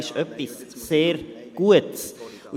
er ist etwas sehr Gutes.